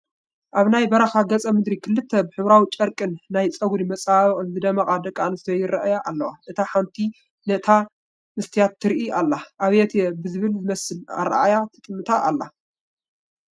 ኣብ ናይ በረኻ ገፀ ምድሪ ክልተ ብሕብሪዊ ጨርቅን ናይ ጨጉሪ መፀባበቕን ዝደመቓ ደቂ ኣነስትዮ ይርአያ ኣለዋ፡፡ እታ ሃንቲ ነታ መስትያት ትርኢ ዘላ ኣብየትየ ብዝብል ዝመስል ኣርኣእያ ትጥምታ ኣላ፡፡